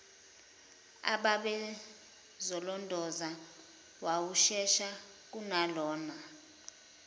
ababezolondoloza wawushesha kunalona